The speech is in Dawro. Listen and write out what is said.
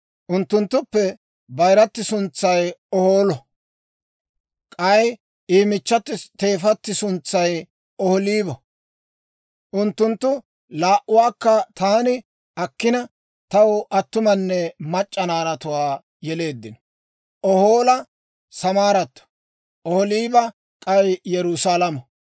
Unttunttuppe bayirati suntsay Ohoolo k'ay I michchati teefati suntsay Ohoolibo Unttunttu laa"uwaakka taani akkina, taw attumanne mac'c'a naanatuwaa yeleeddino. Ohoola Samaaratto; Ohooliba k'ay Yerusaalamo.